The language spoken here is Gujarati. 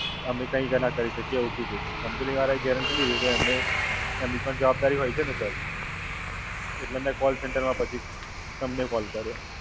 અમે કઈક નાં કરી શકીએ એવું કીધું છે. Company વાળા એ guarantee લીધી, તો એમને એમની ભી જવાબદારી હોય છે ને Sir. એટલે મેં Callcenter માં પછી તમને Call કર્યો.